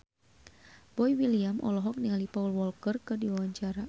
Boy William olohok ningali Paul Walker keur diwawancara